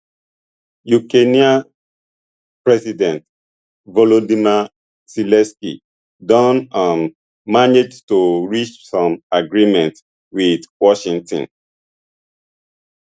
ukrainian president volodymyr zelensky don um manage to reach some agreement with washington